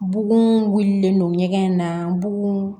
Bugun wililen don ɲɛgɛn in na bugu